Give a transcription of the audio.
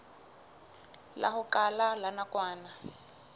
la ho qala la nakwana